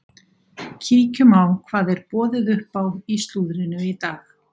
Kíkjum á hvað er boðið upp á í slúðrinu í dag.